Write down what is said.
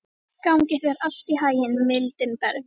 Gangi þér allt í haginn, Mildinberg.